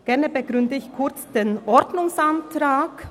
Gerne begründe ich den Ordnungsantrag.